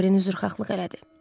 Dorien üzrxahlıq elədi.